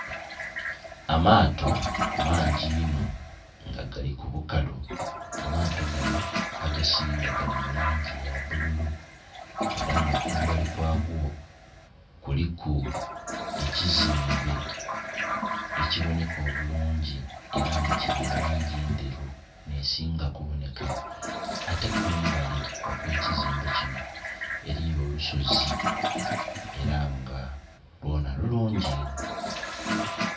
Amaato mangi inhonga gali ku bukalu amato ganho agasinga gali mulangi eya bululu era nga kumbali kwago kuliku ekizimbe ekibonheka obulungi era nga kili mulangi endheru nhe singa ku bonheka ate kumbali okwe kizimbe kinho eriyo olusozi era nga lwona lulungi onho.